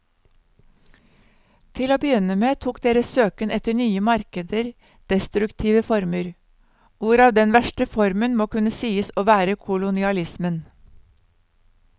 Til å begynne med tok deres søken etter nye markeder destruktive former, hvorav den verste formen må kunne sies å være kolonialismen.